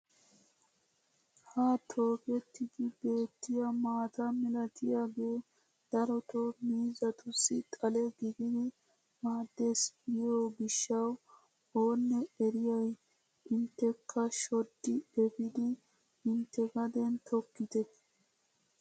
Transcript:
Ha tokettidi beettiyaa maata milatiyaage darotoo miizatussi xale gididi maaddes giyoo gishshawu oonee eriyay intekka shoddi epiidi intte gaden tokkite.